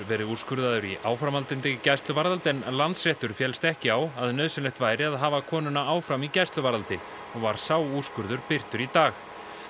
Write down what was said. verið úrskurðaður í áframhaldandi gæsluvarðhald Landsréttur féllst ekki á nauðsynlegt væri að hafa konuna áfram í gæsluvarðhaldi og var sá úrskurður birtur í dag